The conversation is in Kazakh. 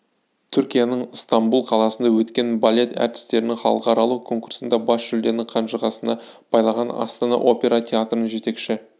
түркияның ыстамбұл қаласында өткен балет әртістерінің халықаралық конкурсында бас жүлдені қанжығасына байлаған астана опера театрының жетекші